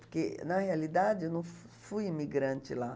Porque, na realidade, eu não fui imigrante lá.